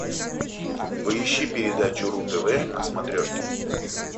поищи передачу ру тв на смотрешке